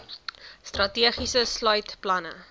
strategie sluit planne